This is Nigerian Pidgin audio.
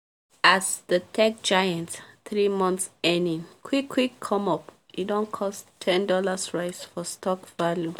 as the tech giants three months earning quick quick come up e don cause 10$ rise for stock value